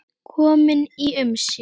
Kominn í umsjá